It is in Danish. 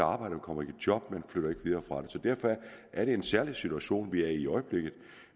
arbejde kommer i job derfor er det en særlig situation vi er i i øjeblikket